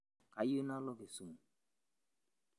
kayieu nalo Kisumu